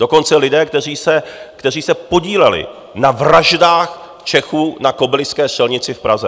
Dokonce lidé, kteří se podíleli na vraždách Čechů na Kobyliské střelnici v Praze.